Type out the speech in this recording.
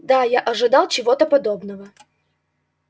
да я ожидал чего-то подобного